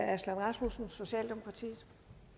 aslan rasmussen socialdemokratiet